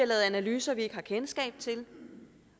lavet analyser vi ikke har kendskab til